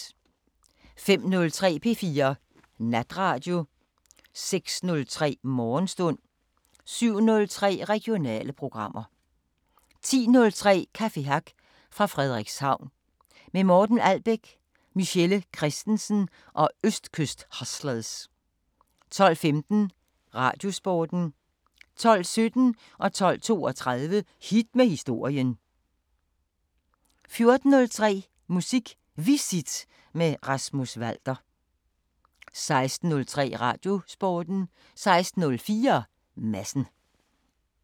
05:03: P4 Natradio 06:03: Morgenstund 07:03: Regionale programmer 10:03: Café Hack fra Frederikshavn – med Morten Albæk, Michelle Kristensen og Østkyst Hustlers 12:15: Radiosporten 12:17: Hit med historien 12:32: Hit med historien 14:03: Musik Visit med Rasmus Walter 16:03: Radiosporten 16:04: Madsen